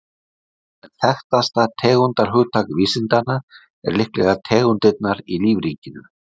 En þekktasta tegundarhugtak vísindanna er líklega tegundirnar í lífríkinu.